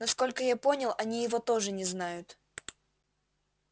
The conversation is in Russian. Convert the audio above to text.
насколько я понял они его тоже не знают